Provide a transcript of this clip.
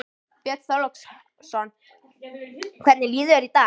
Björn Þorláksson: Hvernig líður þér í dag?